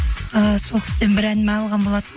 ііі сол кісіден бір ән алған болантынмын